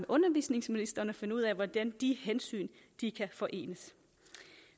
undervisningsministeren og finder ud af hvordan de hensyn kan forenes